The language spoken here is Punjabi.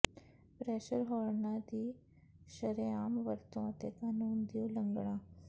ਪ੍ਰੈਸ਼ਰ ਹੋਰਨਾਂ ਦੀ ਸ਼ਰੇਆਮ ਵਰਤੋਂ ਅਤੇ ਕਾਨੂੰਨ ਦੀ ਉਲੰਘਣਾ